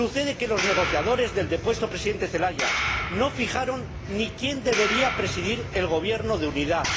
Sucede que los negociadores del depuesto presidente Zelaya no fijaron ni quién debería presidir el gobierno de unidad.